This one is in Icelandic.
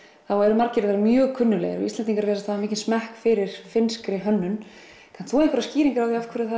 þá eru margir þeirra mjög kunnuglegir Íslendingar virðast hafa mikinn smekk fyrir finnskri hönnun kannt þú einhverjar skýringar á